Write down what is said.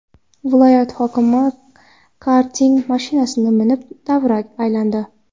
Viloyat hokimi karting mashinasini minib, davra aylandi .